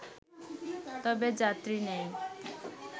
তবে যাত্রী নেই